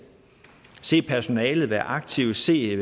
se personalet være aktiv se